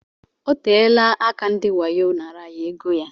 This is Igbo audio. Oteela aka ndị wayo naara ya égo ya.